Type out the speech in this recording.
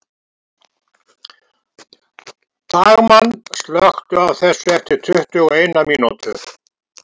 Dagmann, slökktu á þessu eftir tuttugu og eina mínútur.